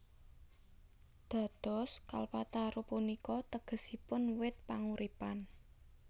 Dados Kalpataru punika tegesipun wit panguripan